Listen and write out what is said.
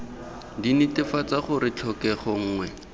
d netefatsa gore tlhokego nngwe